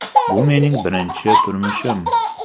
Bu mening birinchi turmushim!”.